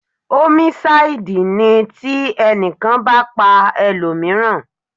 Ómísáídì ní ti ẹnìkan bá pa ẹlòmíràn